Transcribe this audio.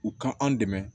U ka an dɛmɛ